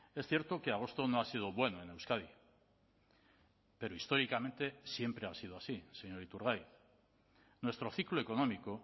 es cierto que agosto no ha sido bueno en euskadi pero históricamente siempre ha sido así señor iturgaiz nuestro ciclo económico